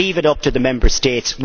Leave it up to the Member States.